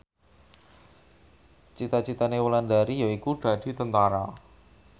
cita citane Wulandari yaiku dadi Tentara